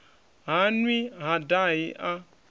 ha nwi ha dahi a